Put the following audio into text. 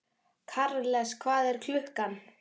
Karles, hvað er klukkan?